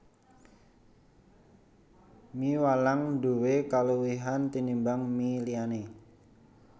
Mie walang nduwé kaluwihan tinimbang mie liyané